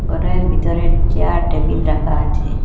ঘরের ভিতরে chair table রাখা আছে।